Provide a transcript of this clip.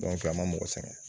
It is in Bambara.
a ma mɔgɔ sɛgɛn